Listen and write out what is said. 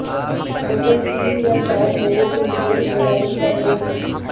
hotel تین یا چار لوگوں کے لئے ڈیزائن کمرے ہیں